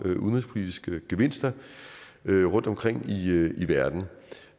udenrigspolitiske gevinster rundtomkring i verden